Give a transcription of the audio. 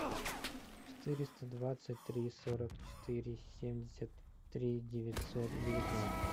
четыреста двадцать три сорок четыре семьдесят три девятьсот девятнадцать